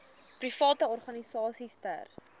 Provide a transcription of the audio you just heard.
private organisasies ter